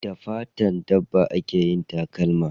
Da fatan dabba a ke yin takalma